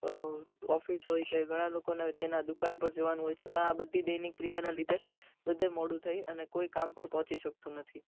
અમ office હોય છે ઘણા લોકો ના હોય ત્યાં દુકાન પર જવાનું હોય છે પણ આ બધી દૈનીક ક્રિયાના લીધે બધે મોડુ થાય અને કોઈ કામ પર પોંચી સકતો નથી